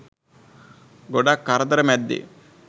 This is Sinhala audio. ගොඩක් කරදර මැද්දෙ